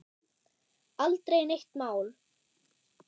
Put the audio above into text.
Aldrei neitt mál.